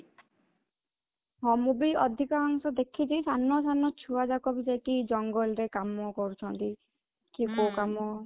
ହଁ, ମୁଁ ବି ଅଧିକାଂଶ ଦେଖିଛି ସାନ ସାନ ଛୁଆଯାକ ସବୁ ଯାଇକି ଜଙ୍ଗଲ ରେ କାମ କରୁଛନ୍ତି କି କୋଉ କାମ